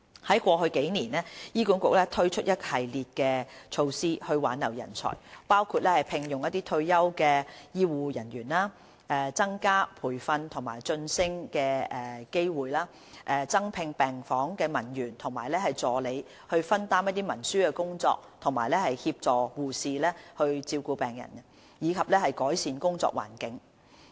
在過去數年，醫管局推出一系列措施以挽留人才，包括聘用退休護理人員、增加培訓及晉升的機會、增聘病房文員及助理以分擔文書工作及協助護士照顧病人，以及改善工作環境等。